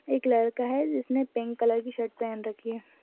एक लड़का हैजिसने पिंक कलर की शर्ट पहन रखी है।